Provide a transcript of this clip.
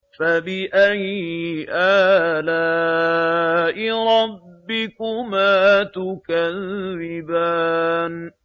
فَبِأَيِّ آلَاءِ رَبِّكُمَا تُكَذِّبَانِ